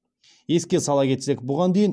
еске сала кетсек бұған дейін